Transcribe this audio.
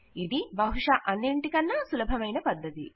ఇది బహుశా అన్నింటికన్నా సులభమైన పద్ధతి